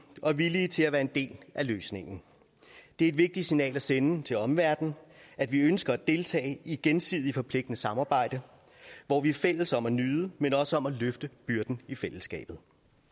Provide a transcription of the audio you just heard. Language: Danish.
og villige til at være en del af løsningen det er et vigtigt signal at sende til omverdenen at vi ønsker at deltage i et gensidigt forpligtende samarbejde hvor vi er fælles om at nyde men også om at løfte byrden i fællesskabet